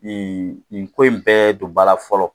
Nin nin ko in bɛɛ don ba la fɔlɔ